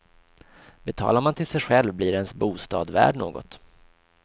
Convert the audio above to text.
Betalar man till sig själv blir ens bostad värd något.